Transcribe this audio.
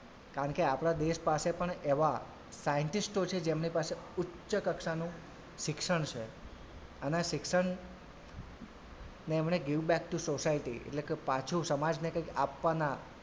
કારણ કે આપડા દેશ પાસે એવાં scientist ઓ છે જેમની પાસે ઉચ્ચ કક્ષાનું શિક્ષણ છે અને શિક્ષણ ને એમણે give back to society એટલે કે પાછુ સમાજને કઈક આપવાનાં,